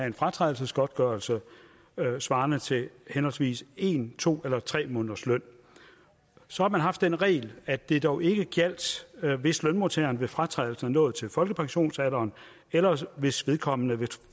en fratrædelsesgodtgørelse svarende til henholdsvis en to eller tre måneders løn så har man haft den regel at det dog ikke gjaldt hvis lønmodtageren ved fratrædelsen var nået til folkepensionsalderen eller hvis vedkommende ved